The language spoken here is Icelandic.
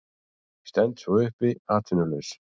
Stend svo uppi atvinnulaus.